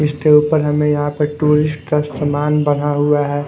इसके ऊपर हमें यहां पे टूरिस्ट का समान बन्धा हुआ है।